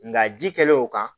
Nka ji kɛlen o kan